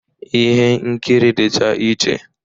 Ihe nkiri dịcha iche